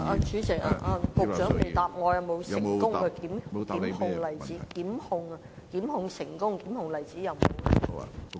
主席，局長沒有回答我有否成功檢控的例子。